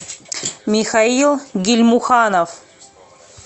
михаил гильмуханов